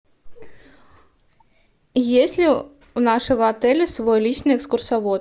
есть ли у нашего отеля свой личный экскурсовод